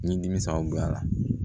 Ni dimi sababuya la